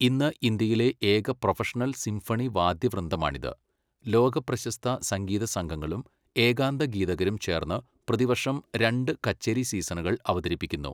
ഇന്ന് ഇന്ത്യയിലെ ഏക പ്രൊഫഷണൽ സിംഫണി വാദ്യവൃന്ദമാണിത്, ലോകപ്രശസ്ത സംഗീതസംഘങ്ങളും ഏകാന്തഗീതകരും ചേർന്ന് പ്രതിവർഷം രണ്ട് കച്ചേരി സീസണുകൾ അവതരിപ്പിക്കുന്നു.